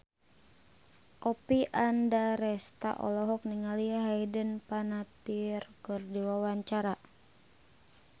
Oppie Andaresta olohok ningali Hayden Panettiere keur diwawancara